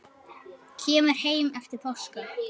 Kemur heim eftir páska.